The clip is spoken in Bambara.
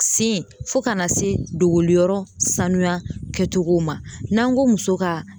Sen fɔ kana se dogoliyɔrɔ sanuya kɛcogow ma n'an go muso ka